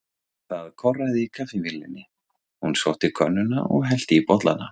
Það korraði í kaffivélinni, hún sótti könnuna og hellti í bollana.